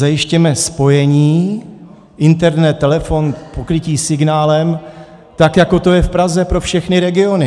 Zajistěme spojení, internet, telefon, pokrytí signálem tak, jako to je v Praze, pro všechny regiony.